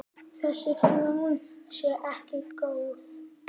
Þessi þróun sé ekki góð.